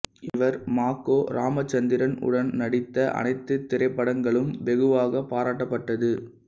இவர் ம கோ இராமச்சந்திரன் உடன் நடித்த அனைத்து திரைப்படங்களும் வெகுவாக பாராட்டப்பட்டது